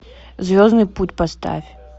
звездный путь поставь